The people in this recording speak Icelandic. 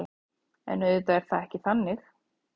En auðvitað er það ekki þannig